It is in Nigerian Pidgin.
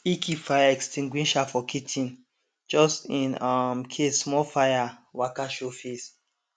e keep fire extinguisher for kitchen just in um case small fire waka show face